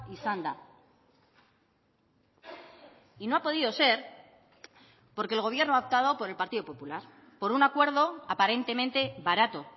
izan da y no ha podido ser porque el gobierno ha optado por el partido popular por un acuerdo aparentemente barato